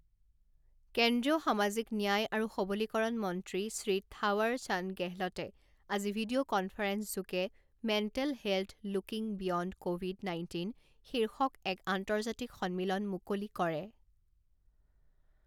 কেন্দ্ৰীয় সামাজিক ন্যায় আৰু সৱলীকৰণ মন্ত্ৰী শ্ৰী থাৱাৰ চান্দ গেহলটে আজি ভিডিঅ কনফাৰেন্সযোগে mental health looking beyond COVID nineteen শীৰ্ষক এক আন্তৰ্জাতিক সন্মিলন মুকলি কৰে।